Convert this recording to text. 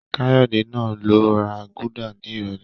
Káyọ̀dé máa lọ ra gúdà ní ìrọ̀lẹ́